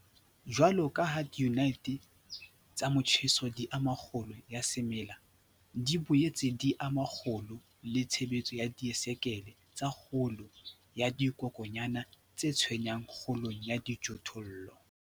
Jwalo ka ha diyunite tsa motjheso di ama kgolo ya semela, di boetse di ama kgolo le tshebetso ya disaekele tsa kgolo ya dikokwanyana tse tshwenyang kgolong ya dijothollo.